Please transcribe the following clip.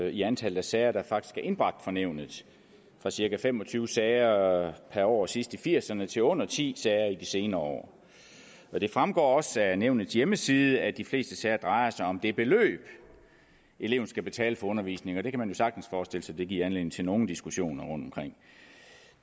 i antallet af sager der faktisk er indbragt for nævnet fra cirka fem og tyve sager per år sidst i nitten firserne til under ti sager i de senere år det fremgår også af nævnets hjemmeside at de fleste sager drejer sig om det beløb eleven skal betale for undervisningen og det kan man jo sagtens forestille sig giver anledning til nogle diskussioner rundtomkring